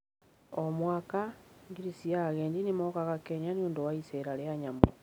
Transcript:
O mwaka, ngiri cia agendi nĩ mokaga Kenya nĩ ũndũ wa iceera rĩa nyamũ.